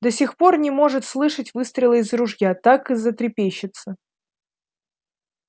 до сих пор не может слышать выстрела из ружья так и затрепещется